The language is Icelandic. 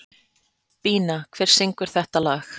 Bína, hver syngur þetta lag?